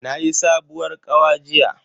Nayi sabuwar kawa jiya.